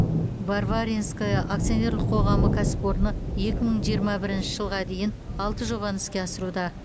варваринское акционерлік қоғамы кәсіпорны екі мың жиырма бірінші жылға дейін алты жобаны іске асыруда